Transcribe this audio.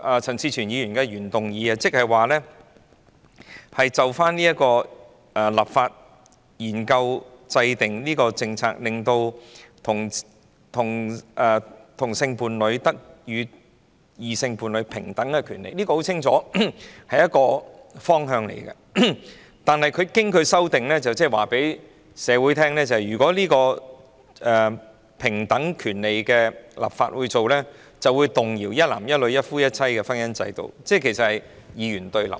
陳志全議員的原議案旨在研究立法、制訂政策，令同性伴侶得與異性伴侶享有平等的權利，這很清楚是一個方向，但經梁美芬議員修正後，即是告訴社會，如果政府為同性伴侶的平等權利立法，便會動搖一男一女、一夫一妻的婚姻制度，換言之是二元對立。